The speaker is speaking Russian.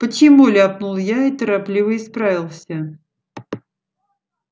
почему ляпнул я и торопливо исправился